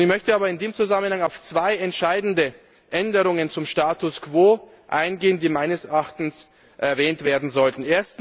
Ich möchte aber in dem Zusammenhang auf zwei entscheidende Änderungen zum Status quo eingehen, die meines Erachtens erwähnt werden sollten.